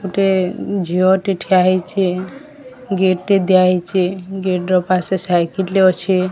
ଗୋଟେ ଝିଅଟେ ଠିଆ ହେଇଚେ। ଗେଟ୍ ଟି ଦିଆ ହେଇଚେ। ଗେଟ୍ ର ପାସେ ସାଇକେଲ ଅଛେ।